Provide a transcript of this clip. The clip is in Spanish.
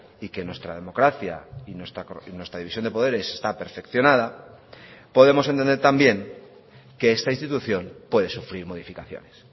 y que nuestra democracia y nuestra división de poderes está perfeccionada podemos entender también que esta institución puede sufrir modificaciones